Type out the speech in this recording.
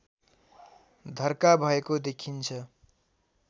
धर्का भएको देखिन्छ